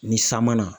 Ni san ma na